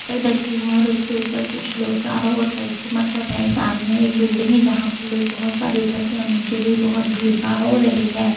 पर ढके हुए हैं और उसके ऊपर कुछ लोग चारों ओर परिक्रमा कर रहे हैं सामने एक बिल्डिंग है जहां पर लोग बहुत सारे इकट्ठे और नीचे भी बहुत भीड़भार हो रही हैं।